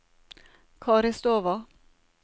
Karistova